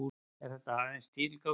En þetta er aðeins tilgáta.